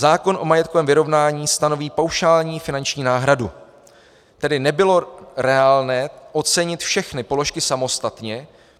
Zákon o majetkovém vyrovnání stanoví paušální finanční náhradu, tedy nebylo reálné ocenit všechny položky samostatně.